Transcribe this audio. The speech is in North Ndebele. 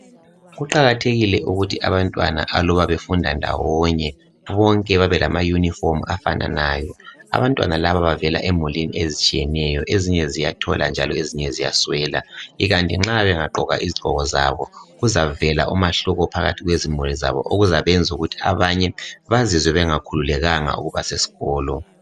Kuqakathekile ukuthi abantwana aluba befunda ndawonye bonke babe lamayunifomu afananayo. Abantwana laba bavela emulini ezinye ziyathola njalo ezinye ziyaswela, ikanti nxa bengagqoka izigqoko zabo kuzavela umahluko phakathi kwemuli zabo okuzayenza ukuthi abanye bazizwe bengakhululekanga ukuba sesikolo.